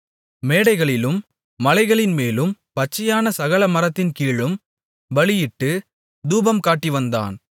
மேடைகளிலும் மலைகளின்மேலும் பச்சையான சகல மரத்தின் கீழும் பலியிட்டுத் தூபம் காட்டிவந்தான்